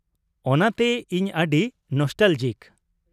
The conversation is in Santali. ᱚᱱᱟᱛᱮ ᱤᱧ ᱟᱹᱰᱤ ᱱᱚᱥᱴᱟᱞᱚᱡᱤᱠ ᱾